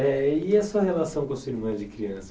É e a sua relação com a sua irmã de criança?